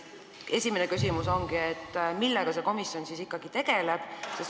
Esimene küsimus ongi, millega see komisjon siis ikkagi tegeleb.